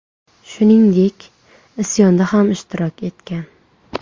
Shuningdek, isyonda ham ishtirok etgan.